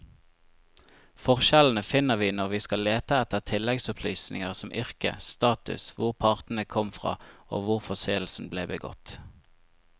Forskjellene finner vi når vi skal lete etter tilleggsopplysninger som yrke, status, hvor partene kom fra og hvor forseelsen ble begått.